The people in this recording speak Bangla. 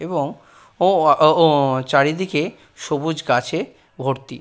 এবং ও ওয়া ও-ও চারিদিকে সবুজ গাছে ভর্তি ।